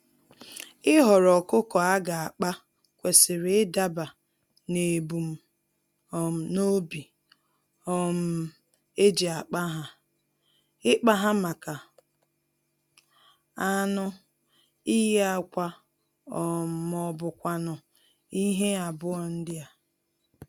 Ịhọrọ ọkụkọ aga akpa, kwesịrị idaba nebum um nobi um eji akpa há; ikpa ha màkà anụ, iyi ákwà um mọbụkwanụ̀ ihe abụọ ndịa.